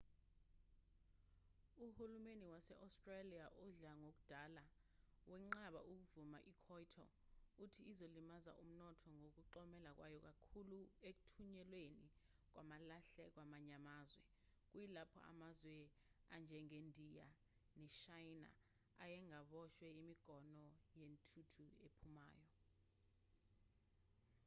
uhulumeni wase-australia odla ngoludala wenqabe ukuvumela ikyoto uthi izolimaza umnotho ngokuxhomeka kwayo kakhulu ekuthunyelweni kwamalahle kwamanye amazwe kuyilapho amazwe anjengendiya neshayina ayengaboshwe imigomo yentuthu ephumayo